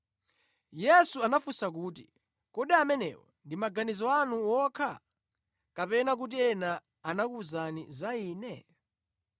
Yesu anafunsa kuti, “Kodi amenewo ndi maganizo anu wokha? Kapena kuti ena anakuwuzani za Ine?”